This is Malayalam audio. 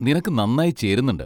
നിനക്ക് നന്നായി ചേരുന്നുണ്ട്.